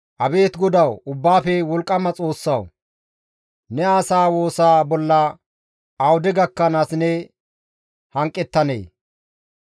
Abeet GODAWU Ubbaafe Wolqqama Xoossawu! Ne asaa woosa bolla awude gakkanaas ne hanqettanee?